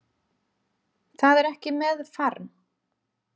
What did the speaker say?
Það er ekki með farm